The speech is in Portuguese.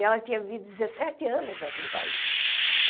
E ela tinha vi dezessete anos naquele país.